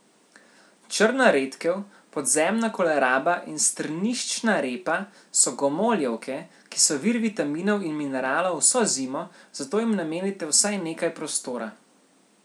Črna redkev, podzemna koleraba in strniščna repa so gomoljevke, ki so vir vitaminov in mineralov vso zimo, zato jim namenite vsaj nekaj prostora.